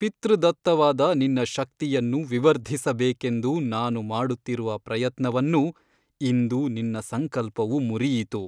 ಪಿತೃದತ್ತವಾದ ನಿನ್ನ ಶಕ್ತಿಯನ್ನು ವಿವರ್ಧಿಸಬೇಕೆಂದು ನಾನು ಮಾಡುತ್ತಿರುವ ಪ್ರಯತ್ನವನ್ನು ಇಂದು ನಿನ್ನ ಸಂಕಲ್ಪವು ಮುರಿಯಿತು.